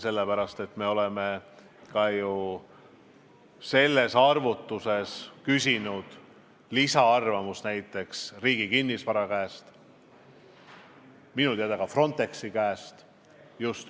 Sellepärast, et me oleme ka ju nendes arvutustes küsinud lisaarvamust näiteks Riigi Kinnisvara käest ja minu teada samuti Frontexi käest.